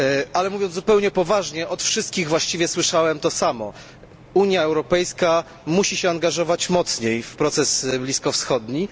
Ale mówiąc zupełnie poważnie, od wszystkich usłyszałem to samo Unia Europejska musi się angażować mocniej w proces bliskowschodni.